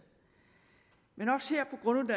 men